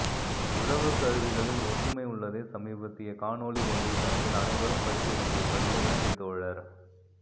உழவு கருவிகளில் ஒற்றுமை உள்ளதை சமீபத்திய காணொளி ஒன்றில் கண்டேன் அனைவரும் படிக்க வேண்டிய பதிவு நன்றி தோழர்